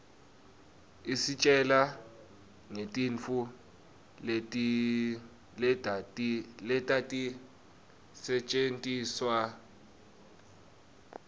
isitjela ngetintfu letatisetjentiswaluudzala